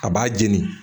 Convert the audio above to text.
A b'a jeni